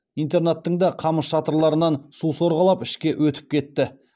интернаттың да қамыс шатырларынан су сорғалап ішке өтіп кетті